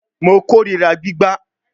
Mo korira gbigba